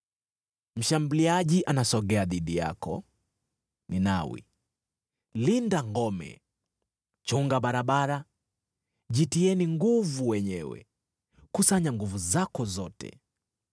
Mshambuliaji anasogea dhidi yako, Ninawi. Linda ngome, chunga barabara, jitieni nguvu wenyewe, kusanya nguvu zako zote!